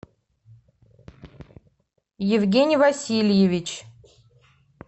евгений васильевич